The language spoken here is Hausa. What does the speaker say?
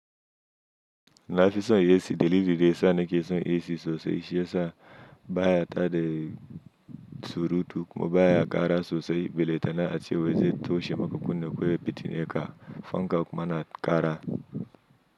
Na afison AC delili de sanikeson isi sosai shiyasa baya ta de surutu kuma baya kara sosai beletana ace weze toshe maka kunne ko ye petineka fanka kuma na kara.